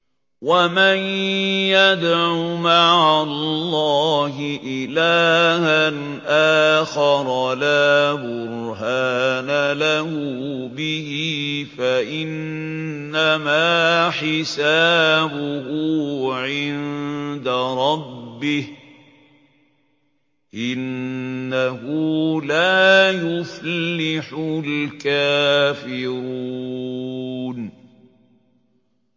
وَمَن يَدْعُ مَعَ اللَّهِ إِلَٰهًا آخَرَ لَا بُرْهَانَ لَهُ بِهِ فَإِنَّمَا حِسَابُهُ عِندَ رَبِّهِ ۚ إِنَّهُ لَا يُفْلِحُ الْكَافِرُونَ